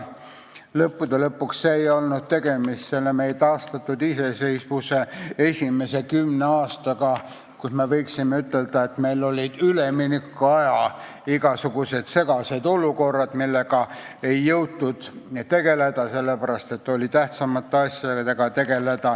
Lõppude lõpuks ei olnud tegemist meie taastatud iseseisvuse esimese kümne aastaga, mille kohta võib ütelda, et meil olid igasugused segased üleminekuaja olukorrad, millega ei jõutud tegeleda, sest oli vaja tegeleda tähtsamate asjadega.